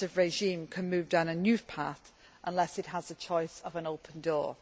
repressive regime can move down a new path unless it has the choice of an open door'.